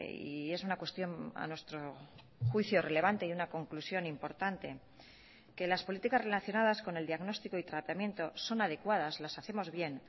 y es una cuestión a nuestro juicio relevante y una conclusión importante que las políticas relacionadas con el diagnóstico y tratamiento son adecuadas las hacemos bien